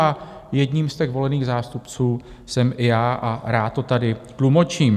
A jedním z těch volených zástupců jsem i já a rád to tady tlumočím.